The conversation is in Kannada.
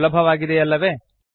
ಸುಲಭವಾಗಿದೆಯಲ್ಲವೆ